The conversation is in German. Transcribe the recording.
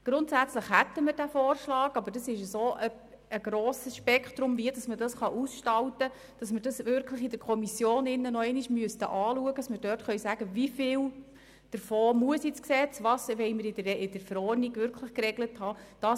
Es gibt ein solch grosses Spektrum an Ausgestaltungsmöglichkeiten, dass wir diese wirklich noch einmal in der Kommission anschauen müssten, damit wir dort sagen können, wie viel davon in das Gesetz kommen muss und was wir wirklich in der Verordnung geregelt haben wollen.